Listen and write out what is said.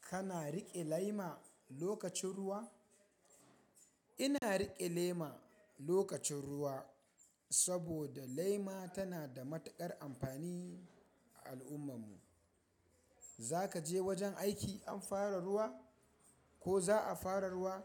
Kana riƙe lema lokacin ruwa? Ina riƙe lema lokacin ruwa saboda lema tana da matuƙar amfani a al'ummar mu. Zaka je wajen aiki an fara ruwa ko za a fara ruwa,